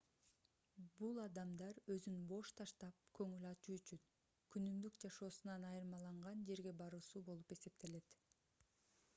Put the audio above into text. бул адамдар өзүн бош таштап көңүл ачуу үчүн күнүмдүк жашоосунан айырмаланган жерге баруусу болуп эсептелет